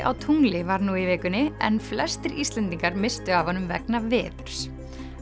á tungli var nú í vikunni en flestir Íslendingar misstu af honum vegna veðurs